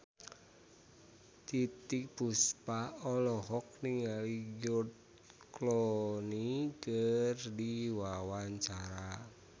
Titiek Puspa olohok ningali George Clooney keur diwawancara